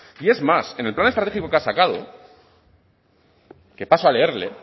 y es más en el plan estratégico que ha sacado que paso a leerle